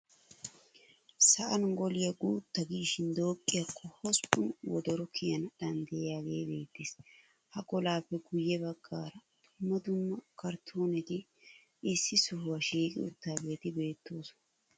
Sa'an golay guutta giishin dooqqiyakko hosppun wodoro kiyana danddayiyagee beettees. Ha golaappe guyye baggaara dumma dumma karttooneti issi sohuwa shiiqi uttidaageeti beettoosona.